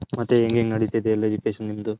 ಮತ್ತೆ ಹೆಂಗ್ ಹೆಂಗ್ ನಡಿತೈತೆ ಎಲ್ಲಾ Education ಎಲ್ಲಾ ನಿಮ್ಮದು.